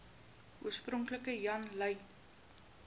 oorspronklik jan lui